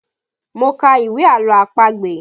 Mo ka ìwé àlọ́ àpagbè